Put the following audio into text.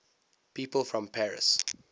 people from paris